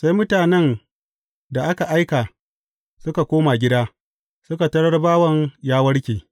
Sai mutanen da aka aika, suka koma gida, suka tarar bawan ya warke.